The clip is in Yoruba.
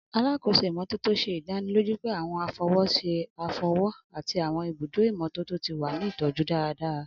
Alakoso imototo ṣe idaniloju pe àwọn afọwọṣe afọwọ ati àwọn ibudo imototo ti wa ni itọju daradara.